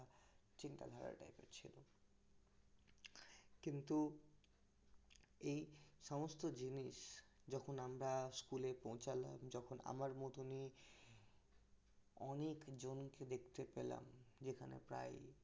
কিন্তু এই সমস্ত জিনিস যখন আমরা school পৌছালাম যখন আমার মতনই অনেক জনকে দেখতে পেলাম এখানে প্রায়ই